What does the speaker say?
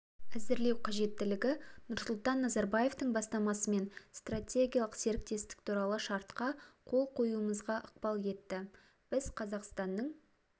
әзірлеу қажеттілігі нұрсұлтан назарбаевтың бастамасымен стратегиялық серіктестік туралы шартқа қол қоюымызға ықпал етті біз қазақстанның